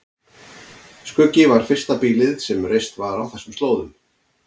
Skuggi var fyrsta býlið sem reist var á þessum slóðum.